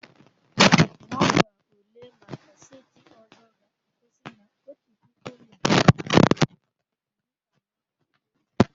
Nọmba ule maka seti ọzọ ga-akwụsị na otu puku na narị abụọ na iri anọ na otu.